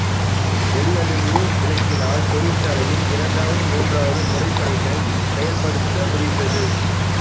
வெள்ளொளிர்வு விளக்கினால் தொழிற்சாலைகளில் இரண்டாவது மூன்றாவது முறைப்பணிகள் செயல்படுத்த முடிந்தது